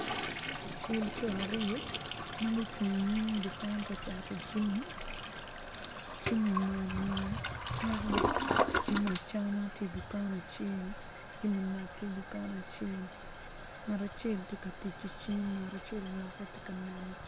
Cel co aryo ma gucung i nyim dukan ka cato jami jami macmac kayaka jami acama tye i dukan acel jami mac tye i dukan acel ngat acel tye ka tic ki cim ngat acel oloke.